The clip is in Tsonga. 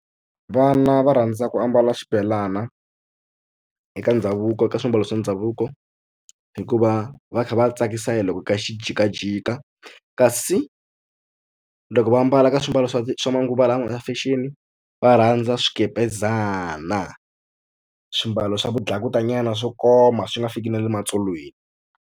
Vana va rhandza ku ambala xibelana eka ndhavuko ka swiambalo swa ndhavuko hikuva va kha va tsakisa hi loko ka xi jikajika kasi loko va ambala ka swimbalo swa swa manguva lawa swa fashion va rhandza swikepezana swimbalo swa vudlakutanyana swo koma swi nga fiki na le matsolweni.